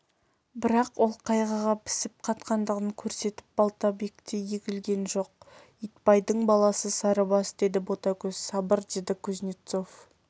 бірақ ол қайғыға пісіп-қатқандығын көрсетіп балтабактей егілген жоқ итбайдың баласы сарыбас деді ботагөз сабыр деді кузнецов